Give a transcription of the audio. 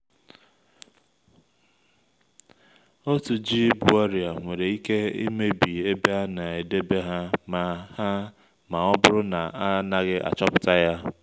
otu ji bu oria nwere ike emebi ebe a na-edebe ha ma ha ma ọ bụrụ na a naghị achọpụta ya